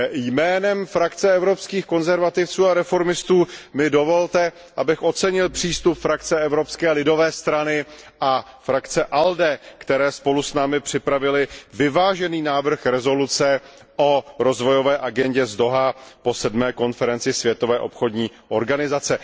Jménem skupiny Evropských konzervativců a reformistů mi dovolte, abych ocenil přístup skupiny Evropské lidové strany a skupiny ALDE, které spolu s námi připravily vyvážený návrh rezoluce o rozvojové agendě z Dohá po sedmé konferenci Světové obchodní organizace.